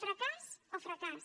fracàs o fracàs